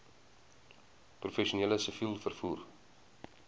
professioneel siviel vervoer